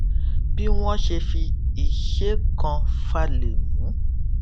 bí wón ṣe fi iṣé kan falè mú